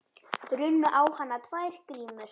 Runnu á hana tvær grímur.